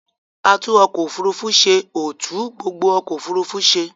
Atúnọkọ-òfurufú ṣe ò tún gbogbo ọkọ̀òfurufú ṣe.